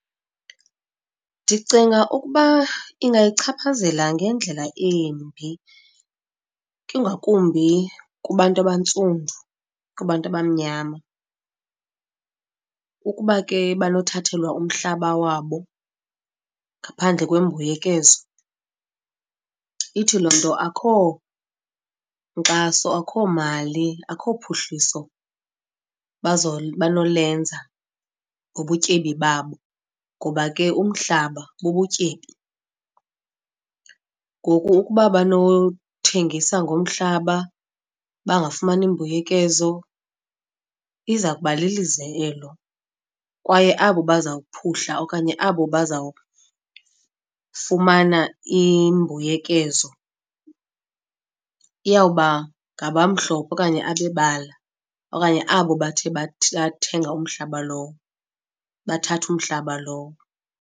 Ndicinga ukuba ingayichaphazela ngendlela embi, ingakumbi kubantu abantsundu, kubantu abamnyama ukuba ke banothathelwa umhlaba wabo ngaphandle kwembuyekezo. Ithi loo nto akukho nkxaso, akukho mali akukho phuhliso banolenza ngobutyebi babo ngoba ke umhlaba bubutyebi. Ngoku ukuba banothengisa ngomhlaba bangafumani mbuyekezo iza kuba lilize elo, kwaye abo bazawuphuhla okanye abo bazawufumana imbuyekezo iyawuba ngabamhlophe okanye abebala okanye abo bathe bathenga umhlaba lowo, bathatha umhlaba lowo.